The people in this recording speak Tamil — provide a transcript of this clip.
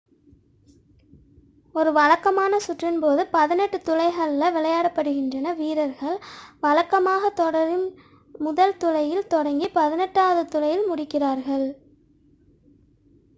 ஒரு வழக்கமான சுற்றின் போது பதினெட்டு துளைகளில் விளையாடப்படுகின்றன வீரர்கள் வழக்கமாக தொடரின் முதல் துளையில் தொடங்கி பதினெட்டாவது துளையில் முடிக்கிறார்கள்